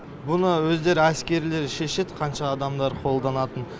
бұны өздері әскерилері шешеді қанша адамдар қолданатынын